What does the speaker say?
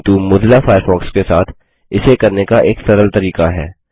किन्तु Mozilla Firefox के साथ इसे करने का एक सरल तरीका है